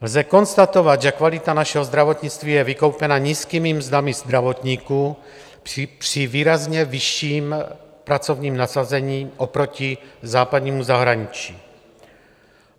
Lze konstatovat, že kvalita našeho zdravotnictví je vykoupena nízkými mzdami zdravotníků při výrazně vyšším pracovním nasazení oproti západnímu zahraničí.